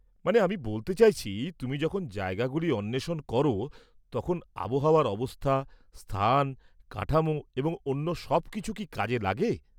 মানে, আমি বলতে চাইছি, তুমি যখন জায়গাগুলি অন্বেষণ করো তখন আবহাওয়ার অবস্থা, স্থান, কাঠামো এবং অন্য সব কিছু কি কাজে লাগে?